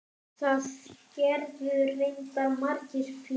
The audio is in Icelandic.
Það gerðu reyndar margir fleiri.